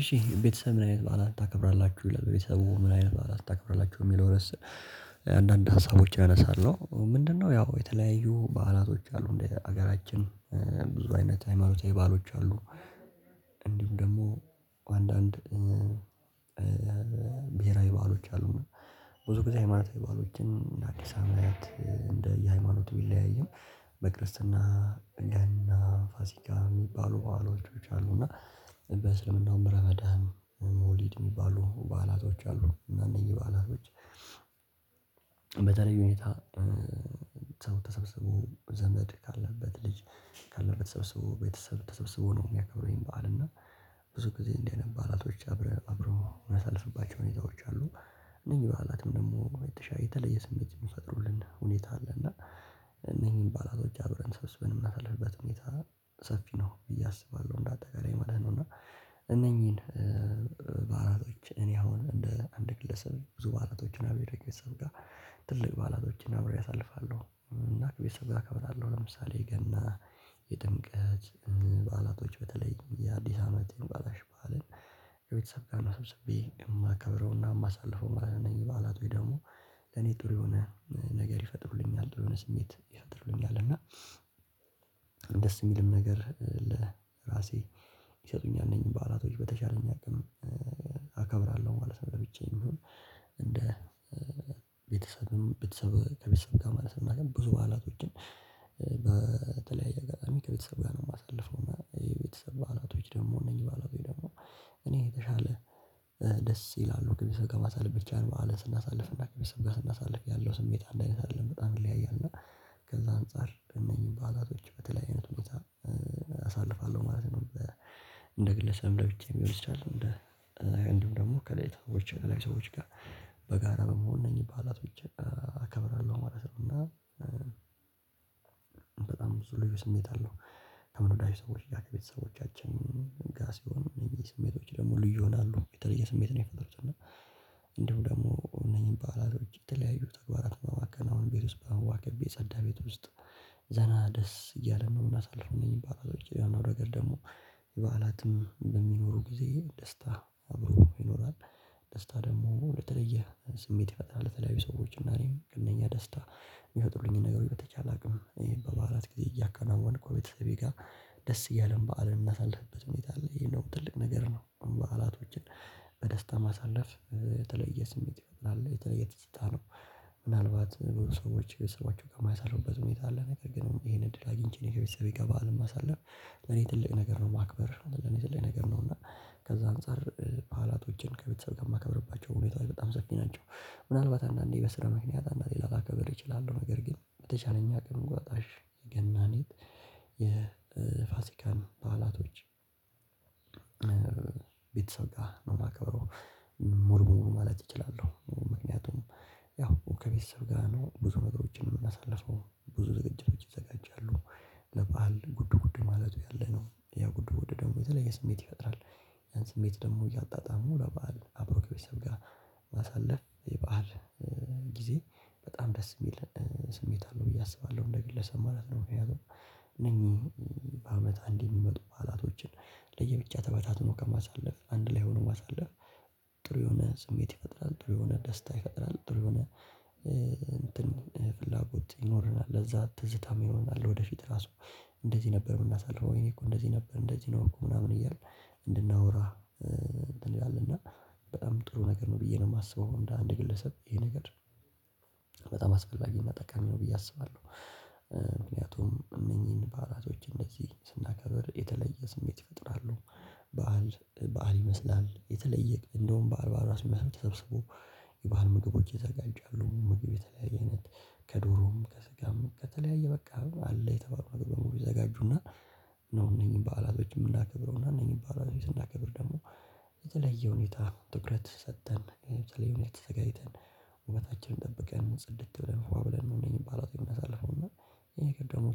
እሺ ቤተሰብ ምን አይነት በዓላት ታከብራላችሁ ቤተሰቡ ምን አይነት በዓላት ታከብራላችሁ የሚለው ርዕስ? አንዳንድ ሀሳቦችን አነሳለሁ። ምንድነው ያው የተለያዩ በዓላቶች አሉ እንደ ሀገራችን። ብዙ አይነት ሃይማኖታዊ በዓሎች አሉ። እንዲሁም ደግሞ አንዳንድ ብሄራዊ በዓሎች አሉ። ብዙ ጊዜ ሃይማኖታዊ ማለት በዓሎችን አዲስ አመት እንደ የሃይማኖት ቢለያይም በክርስትና ገና ፋሲካ የሚባሉ በዓላቶች እና በእስልምናው በረመዳን መወሊድ የሚባሉ በዓላቶች አሉ። እና እነዚህ በዓላቶች በተለይ ሁኔታ ሰው ተሰብስቦ ዘመድ ካለበት ልጅ ካለበት ተሰብስቦ ቤተሰብ ተሰብስቦ ነው የሚያከብረው። ይሄን በዓል እና ብዙ ጊዜ እንዲህ አይነት በዓላቶች አብረው አብረው የሚያሳልፉባቸው ሁኔታዎች አሉ። እነዚህ በዓላትም ደግሞ የተለየ ስሜት የሚፈጥሩልን ሁኔታ አለና እነኚህን በዓላቶች አብረን ተሰብስበን የምናሳልፍበት ሁኔታ ሰፊ ነው ብዬ አሰባለሁ። እንዳጠቃላይ ማለት ነው። እና እነኚህን በዓላቶች እኔ አሁን እንደ አንድ ግለሰብ ብዙ በዓላቶችን አብሬ ከቤተሰብ ጋር ትልቅ በዓላቶችን አብሬ አሳልፋለሁ እና ቤተሰብ ጋር አከብራለሁ። ለምሳሌ የገና የጥምቀት በዓላቶች በተለይ የአዲስ አመት በዓላቶች በዓልን ከቤተሰብ ጋር ተሰብስቤ የማከብረውና የማሳልፈው ማለት ነው። የበዓላት ወይ ደግሞ ለኔ ጥሩ የሆነ ነገር ይፈጥርልኛል የሆነ ጥሩ ስሜት ይፈጥርልኛል። እና ደስ የሚልም ነገር ለራሴ ይሰጡኛል እነኝ በዓላቶች በተቻለኝ አቅም አከብራልው ማለት ነው። ለብቻዬ ይሁን እንደ ቤተሰብም ቤተሰብ ከቤተሰብ ጋር ማለት ነው። ግን ብዙ በዓላቶችን በተለያየ አጋጣሚ ከቤተሰብ ጋር ነው የማሳልፈው። የቤተሰብ በዓላቶች ደግሞ እነዚህ በዓላቶች ደግሞ እኔ የተሻለ ደስ ይላሉ ግን ሰው ጋር ማሳለፍ ብቻ ነው በዓልን ስናሳልፍ እና ግቢ ከሰው ጋር ስናሳልፍ ያለው ስሜት አንድ አይነት አይደለም በጣም ይለያያል። እና ከዛ አንፃር እነዚህ በዓላቶች በተለያየ አይነት ሁኔታ አሳልፋለሁ ማለት ነው። እንደ ግለሰብ ለብቻዬ ሊሆን ይቻላል እንደ እንዲሁም ደግሞ ከተለያዩ ሰዎች ጋር በጋራ በመሆን እነኝ በዓላቶችን አከብራለሁ ማለት ነው። እና በጣም ብዙ ልዩ ስሜት አለው። ከምንወዳቸው ሰዎችጋር ቤተሰቦቻችን ጋር ሲሆኑ እነኝህ ስሜቶች ደግሞ ልዩ ይሆናሉ የተለየ ስሜት ነው የሚፈጠሩት። እና እንዲሁ ደግሞ እነኚህን በዓላት የተለያዩ ተግባራት እና በማከናወን ቤት ውስጥ የጸዳ ቤት ውስጥ ዘና ደስ እያለ ነው የምናሳልፈው። እነኝህ በዓላቶች ያ ማለት ደግሞ በዓላትም በሚኖሩ ጊዜ ደስታ አብሮ ይኖራል። ደስታ ደግሞ ለተለየ ስሜት ይፈጠራል። ለተለያዩ ሰዎች እና እኔም እነኛ ደስታ የሚፈጥሩልኝን ነገሮች በተቻለ አቅም ይሄን በበዓላት ጊዜ እያከናወንኩ ቤተሰቤ ጋር ደስ እያለን በዓልን ምናሳልፍበት ሁኔታ አለ። ይሄን ደግሞ ትልቅ ነገር ነው። በዓላቶችን በደስታ ማሳለፍ የተለየ ስሜት አለው የተለየ ደስታ ነው። ምናልባት ብዙ ሰዎች ከቤተሰብ ጋር የማያሳልፉበት ሁኔታ አለ ነገር ግን ይሄን እድል አግኝቼ ነው ከቤተሰብ በዓልን ማሳልፍ ለኔ ትልቅ ነገር ነው። ማክበር ለኔ ትልቅ ነገር ነው። እና ከዛ አንፃር በዓላቶችን ከቤተሰብ ጋር የማከብርባቸው ሁኔታ ላይ በጣም ሰፊ ናቸው። ምናልባት አንዳንዴ በስራ ምክንያት አንዳንዴ ላላከብር እችላለሁ ነገር ግን በተቻለኝ አቅም እንቁጣጣሽ ገናም የፋሲካን በዓላቶች ቤተሰብ ጋር ነው የማከብረው። ሙሉበሙሉ ማለት እችላለሁ ምክንያቱም ያው ከቤተሰብ ጋር ነው ብዙ ነገሮችን የምናሳልፈው ብዙ ዝግጅቶች ይዘጋጃሉ። ለበአል ጉድ ጉድ ማለቱ ያለነው ያ ጉድ ጉድ ደግሞ የተለየ ስሜት ይፈጥራል። ያን ስሜት ደግሞ እያጣጣሙ ለበአል አብሮ ከቤተሰብ ጋር ማሳለፍ የበአል ጊዜ በጣም ደስ የሚል ስሜት አለው። ብዬ አስባለሁ እንደ ግለሰብ ማለት ነው። በምክንያቱም በአመት አንዴ የሚመጡ በዓላቶችን ለየብቻ ተበታትኖ ከማሳለፍ አንድ ላይ ሆኖ ማሳለፍ ጥሩ የሆነ ስሜት ይፈጥራል። ጥሩ የሆነ ደስታ ይፈጥራል። ጥሩ የሆነ እንትን ፍላጎት ይኖረናል ለዛ ትዝታም ይሆናል። ወደፊት ራሱ እንደዚህ ነበር የምናሳልፈው ወይኔ እኮ እንደዚህ ነበር እንደዚህ ነው እኮ ምናምን እያልን እንድናውራ እንትን ይላልና በጣም ጥሩ ነገር ነው። ብዬ ነው የማስበው እንደ አንድ ግለሰብ ይሄ ነገር በጣም አስፈላጊ መጠቀም ነው ብዬ አስባለሁ። ምክንያቱም እነኚህን በዓላቶች እንደዚህ ስናከብር የተለየ ስሜት ይፈጥራሉ። በዓል በዓል ይመስላል የተለየ እንደውም በዓል በዓል አስመስሎ ተሰብስቦ የበአል ምግቦች ይዘጋጃሉ። ምግብ የተለያየ አይነት ከዶሮም ከስጋም ከተለያየ በቃ አለ የተባሉ ነገር በሙሉ ይዘጋጁና። ነው እኔን በዓላቶችን ምናከብረው እና እኔ የሚባለው ቤት ስናከብር ደግሞ በተለየ ሁኔታ ትኩረት ሰጥተን የሆነ ተዘጋጅተን ውበታችንን ጠብቀን ጽድት ብለን ፏ ብለን እነኝህ በዓላት የምናሳልፈውና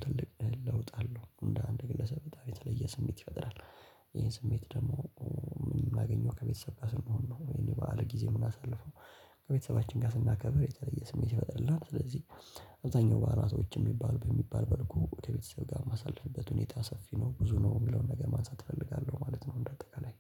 ትልቅ ለውጥ አለው። እንደ አንድ ግለሰብ የተለየ ስሜት ይፈጥራል። ይሄን ስሜት ደግሞ ምናገኘው ከቤተሰብ ጋር ስንሆን ነው። ወይም የበአል ጊዜ የምናሳልፈው ከቤተሰባችን ጋር ስናከብር የተለየ ስሜት ይፈጥርልናል። ስለዚህ አብዛኛው በዓላቶች የሚባል በሚባል በልኩ ወደ ቤተሰብ ጋር ማሳለፍበት ሁኔታ ሰፊ ነው ብዙ ነው የሚለውን ነገር ማንሳት እፈልጋለሁ ማለት ነው። እንደ አጠቃላይ